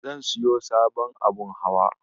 Zan siyo sabon abun hawa.